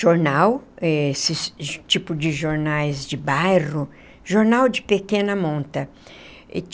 jornal eh, esse tipo de jornais de bairro, jornal de pequena monta.